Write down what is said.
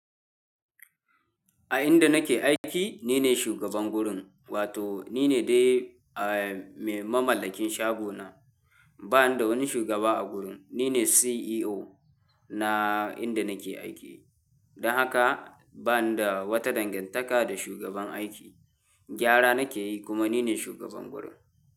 A inda nake aiki ni ne shugaban gurin wato ni ne dai, eh, mai mamallakin shago na. Ba ni da wani shugaba a gurin. Ni ne CEO na inda nake aiki. Don haka ba ni da wata dangantaka da shugaban aiki. Gyara nake yi kuma ni ne shugaban gurin.